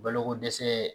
Balokodɛsɛ